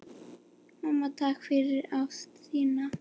Mamma, takk fyrir ást þína.